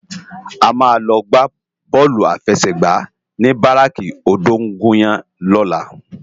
A má lò gbá bòlú áfèsègbá ni báráki ódóngúyàn lòlá